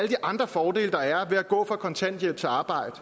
de andre fordele der er ved at gå fra kontanthjælp til arbejde